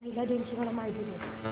महिला दिन ची मला माहिती दे